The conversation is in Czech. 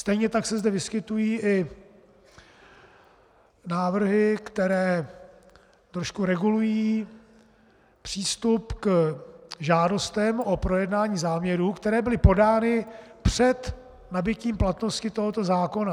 Stejně tak se zde vyskytují i návrhy, které trošku regulují přístup k žádostem o projednání záměru, které byly podány před nabytím platnosti tohoto zákona.